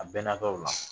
A bɛnna tɔw la